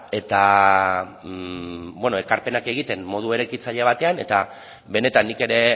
eta ekarpenak egiten modu eraikitzaile batean eta benetan nik ere